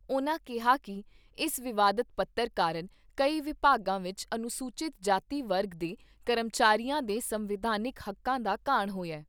ਉਨ੍ਹਾਂ ਕਿਹਾ ਕਿ ਇਸ ਵਿਵਾਦਤ ਪੱਤਰ ਕਾਰਨ ਕਈ ਵਿਭਾਗਾਂ ਵਿੱਚ ਅਨੁਸੂਚਿਤ ਜਾਤੀ ਵਰਗ ਦੇ ਕਰਮਚਾਰੀਆਂ ਦੇ ਸੰਵਿਧਾਨਿਕ ਹੱਕਾਂ ਦਾ ਘਾਣ ਹੋਇਆ।